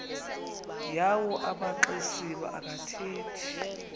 yawo amaxesibe akathethi